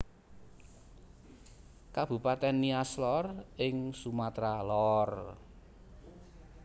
Kabupatèn Nias Lor ing Sumatra Lor